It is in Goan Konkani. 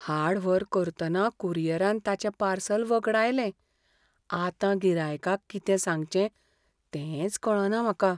हाड व्हर करतना कुरियरान ताचें पार्सल वगडायलें. आतां गिरायकाक कितें सांगचें तेंच कळना म्हाका.